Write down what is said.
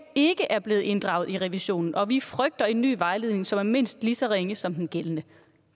ikke er blevet inddraget i revisionen og vi frygter en ny vejledning som er mindst lige så ringe som den gældende